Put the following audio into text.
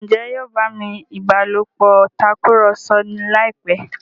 Njé yóò bá mí ìbálòpọ̀ Tàkùrọ̀sọ láìpé?